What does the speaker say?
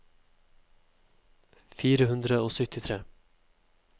fire hundre og syttitre